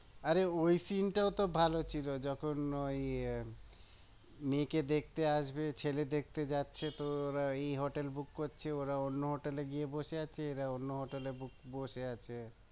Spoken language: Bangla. আরে ওই scene টাও তো ভালো ছিল যখন ওই মেয়ে কে দেখতে আসবে ছেলে দেখতে যাচ্ছে তো ওরা ওই hotel book করছে ওরা অন্য hotel এ গিয়ে বসে আছে এরা অন্য hotel এ বসে আছে